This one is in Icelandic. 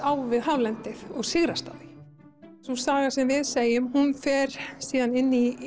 á við hálendið og sigrast á því sagan sem við segjum fer síðan inn í